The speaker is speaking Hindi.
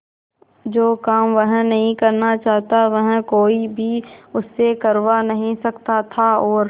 जो काम वह नहीं करना चाहता वह कोई भी उससे करवा नहीं सकता था और